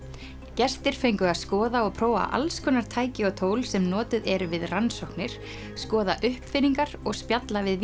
gestir fengu að skoða og prófa alls konar tæki og tól sem notuð eru við rannsóknir skoða uppfinningar og spjalla við